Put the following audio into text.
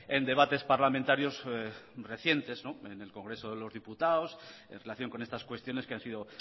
en debates parlamentarios recientes en el congreso de los diputados en relación con estas cuestiones que han sido